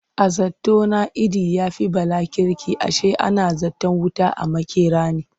A zato na Idi ya fi Bala kirki ashe ana zaton wuta a makera ne.